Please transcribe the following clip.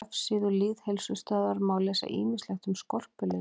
Á vefsíðu Lýðheilsustöðvar má lesa ýmislegt um skorpulifur.